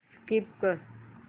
skip कर